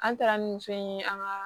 An taara ni muso in ye an ka